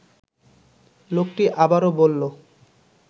লোকটি আবারও বলল